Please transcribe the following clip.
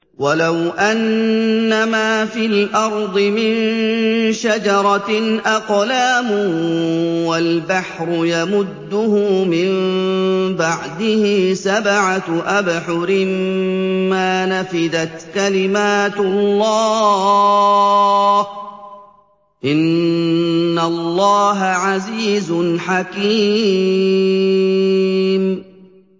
وَلَوْ أَنَّمَا فِي الْأَرْضِ مِن شَجَرَةٍ أَقْلَامٌ وَالْبَحْرُ يَمُدُّهُ مِن بَعْدِهِ سَبْعَةُ أَبْحُرٍ مَّا نَفِدَتْ كَلِمَاتُ اللَّهِ ۗ إِنَّ اللَّهَ عَزِيزٌ حَكِيمٌ